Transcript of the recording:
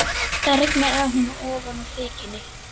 Það rignir á hana ofan úr þekjunni.